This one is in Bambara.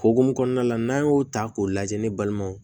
Hokumu kɔnɔna la n'an y'o ta k'o lajɛ ne balimaw